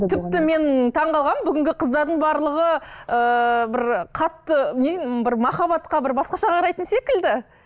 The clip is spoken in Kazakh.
тіпті мен таңғалғанмын бүгінгі қыздардың барлығы ыыы бір қатты не бір махаббатқа бір басқаша қарайтын секілді